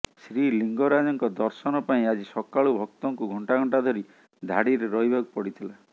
ଶ୍ରୀଲିଙ୍ଗରାଜଙ୍କ ଦର୍ଶନ ପାଇଁ ଆଜି ସକାଳୁ ଭକ୍ତଙ୍କୁ ଘଣ୍ଟା ଘଣ୍ଟା ଧରି ଧାଡ଼ିରେ ରହିବାକୁ ପଡ଼ିଥିଲା